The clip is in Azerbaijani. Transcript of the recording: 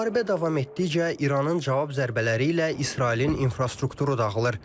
Müharibə davam etdikcə İranın cavab zərbələri ilə İsrailin infrastrukturu dağılır.